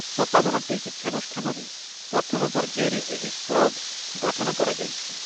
ସତାବନ ଟି ଶିକ୍ଷାନୁଷ୍ଠାନରେ ପ୍ରଥମ ପର୍ଯ୍ୟାୟରେ ଏହି କ୍ଲବ୍‌ ଗଠନ କରାଯାଇଛି ।